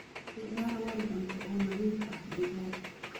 Isticmaal weel cunto oo nadiif ah digaagga.